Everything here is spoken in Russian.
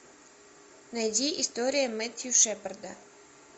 найди история мэттью шепарда